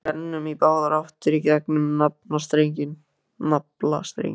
Við rennum í báðar áttir í gegnum naflastrenginn.